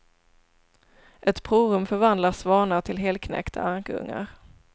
Ett provrum förvandlar svanar till helknäckta ankungar.